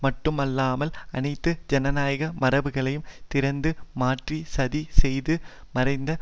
மட்டுமல்லாமல் அனைத்து ஜனநாயக மரபுகளையும் திறந்து மாற்றி சதி செய்து மறைத்த